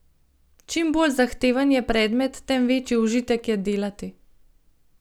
Čim bolj zahteven je predmet, tem večji užitek je delati.